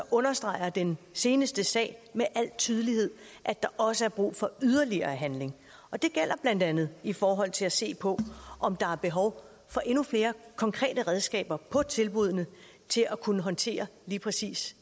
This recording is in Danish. understreger den seneste sag med al tydelighed at der også er brug for yderligere handling og det gælder blandt andet i forhold til at se på om der er behov for endnu flere konkrete redskaber på tilbuddene til at kunne håndtere lige præcis